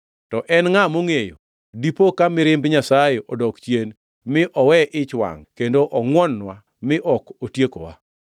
To en ngʼa mongʼeyo? Dipo ka mirimb Nyasaye odok chien, mi owe ich wangʼ kendo ongʼwon-nwa mi ok otiekowa.”